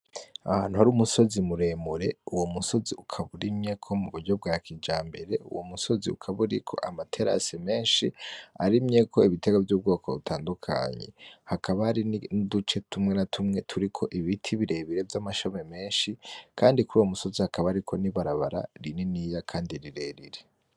Ahantu hari umusozi muremure uwo musozi ukaba urimyeko muburyo bwa kijambere, uwo musozi ukaba uriko amaterase menshi arimyeko ibitegwa vy'ubwoko butandukanye hakaba hari nuduce tumwe na tumwe turiko ibiti birebire vy'amashami menshi, kandi kuruyo musozi hakaba hari n'ibarabara riniya kandi rirerire.